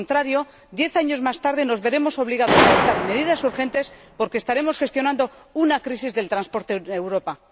de lo contrario, diez años más tarde, nos veremos obligados a adoptar medidas urgentes porque estaremos gestionando una crisis del transporte en Europa.